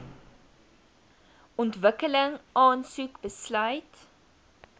ontwikkeling aansoek besluit